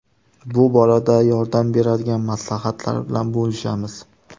Bu borada yordam beradigan maslahatlar bilan bo‘lishamiz.